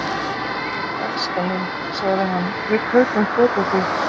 elskan mín, sagði hann, við kaupum föt á þig.